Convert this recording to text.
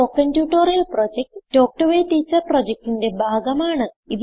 spoken tutorial project talk to a teacher പ്രൊജക്റ്റിന്റെ ഭാഗമാണ്